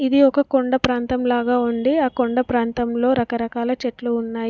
ఇది ఒక కొండ ప్రాంతం లాగా ఉండి ఆ కొండ ప్రాంతంలో రకరకాల చెట్లు ఉన్నాయి.